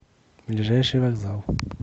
ближайший вокзал